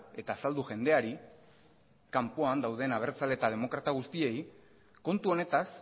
eta azaldu jendeari kanpoan dauden abertzale eta demokrata guztiei kontu honetaz